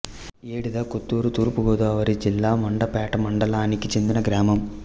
ఏడిద కొత్తూరు తూర్పు గోదావరి జిల్లా మండపేట మండలానికి చెందిన గ్రామం